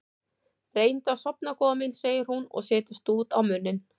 Reyndu að sofna góða mín, segir hún og setur stút á munninn.